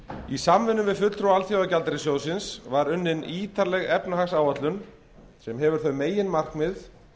í samvinnu við fulltrúa alþjóðagjaldeyrissjóðsins var unnin ítarleg efnahagsáætlun sem hefur þau meginmarkmið